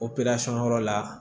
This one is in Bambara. yɔrɔ la